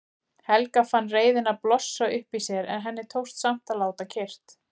Helga fann reiðina blossa upp í sér en henni tókst samt að láta kyrrt.